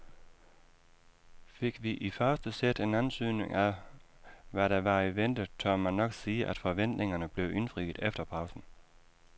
Fik vi i første sæt en antydning af hvad der var i vente, tør man nok sige at forventningerne blev indfriet efter pausen.